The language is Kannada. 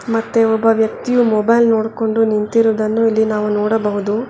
ಮತ್ತೆ ಒಬ್ಬ ವ್ಯಕ್ತಿಯು ಮೊಬೈಲ್ ನೋಡ್ಕೊಂಡು ನಿಂತಿರೋದನ್ನು ಇಲ್ಲಿ ನಾವು ನೋಡಬಹುದು.